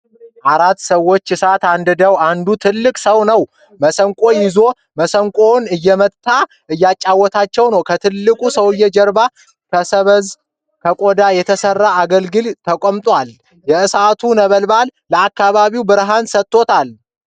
አራት ሰዎች እሳት አንድደዋል ። አንዱ ትልቅ ሰው ነው። መሰንቆ ይዟል። መሠንቆውን እየመታ እያጫወታቸው ነው ። ከትልቁ ሰውዬ ጀርባ ከሰበዝና ከቆዳ የተሰራ አገልግል ተቀምጧል። የእሳቱ ነበልባል ለአካባቢው ብርሃን ሰጥቶታል ።